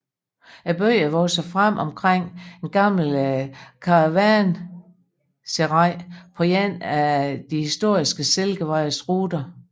Byen er vokset frem omkring et gammelt karavanserai på en af den historiske Silkevejens ruter